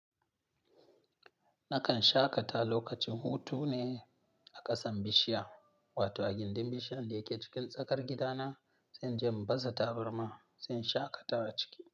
Nakan shaƙata lokacin hutu ne a ƙasan bishiya, wato a gindin bishiyan da yake cikin tsakar gida na. Sai inje in baza tabarma, sai in shaƙata a ciki.